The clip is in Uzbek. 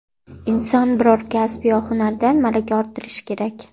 Inson biror kasb yo hunardan malaka orttirishi kerak.